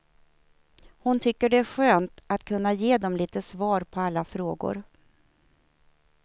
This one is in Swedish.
Hon tycker det är skönt att kunna ge dem lite svar på alla frågor.